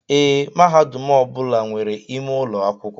Ee, mahadum ọbula nwèrè ime ụlọ akwụkwọ.